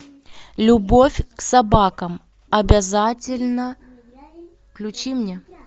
любовь к собакам обязательна включи мне